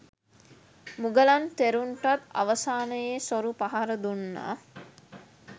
මුගලන් තෙරුන්ටත් අවසානයේ සොරු පහර දුන්නා